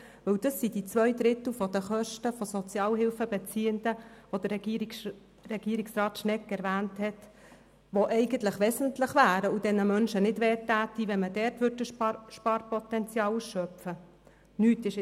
Dies sind zwei Drittel der von Regierungsrat Schnegg erwähnten Kosten von Sozialhilfebeziehenden, die eigentlich wesentlich und für die Menschen verkraftbar wären, wenn das Sparpotenzial dort ausgeschöpft würde.